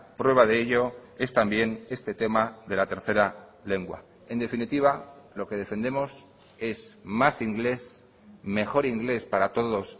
prueba de ello es también este tema de la tercera lengua en definitiva lo que defendemos es más inglés mejor inglés para todos